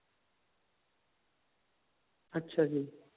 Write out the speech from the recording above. ਅੱਛਾ ਜੀ